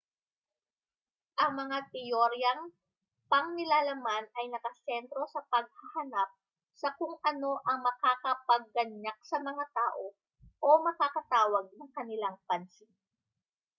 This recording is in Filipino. ang mga teoryang pangnilalaman ay nakasentro sa paghahanap sa kung ano ang makakapagganyak sa mga tao o makakatawag ng kanilang pansin